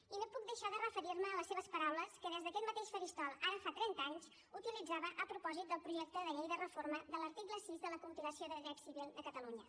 i no puc deixar de referir me a les seves paraules que des d’aquest mateix faristol ara fa trenta anys utilitzava a propòsit del projecte de llei de reforma de l’article sis de la compilació del dret civil de catalunya